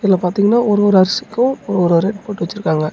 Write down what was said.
இதுல பாத்திங்ன்னா ஒரு ஒரு அரிசிக்கு ஒரு ஒரு ரேட் போடு வெச்சிருக்காங்க.